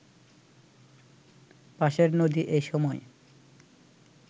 পাশের নদী এ সময়